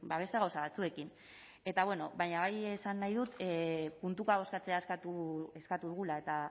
beste gauza batzuekin eta bueno baina bai esan nahi dut puntuka bozkatzea eskatu dugula eta